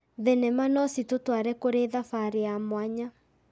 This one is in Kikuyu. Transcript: Thenema no citũtware kũrĩ thabarĩ ya mwanya.